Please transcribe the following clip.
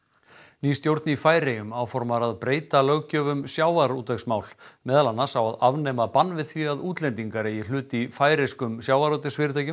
ný stjórn í Færeyjum áformar að breyta löggjöf um sjávarútvegsmál meðal annars á að afnema bann við því að útlendingar eigi hlut í færeyskum sjávarútvegsfyrirtækjum